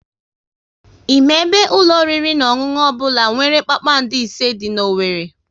Ị ma ebe ụlọ oriri na ọṅụṅụ ọbụla nwere kpakpando ise dị n'Owerri?